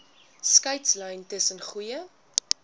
skeidslyn tussen goeie